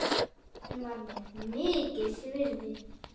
Hún var mér mikils virði.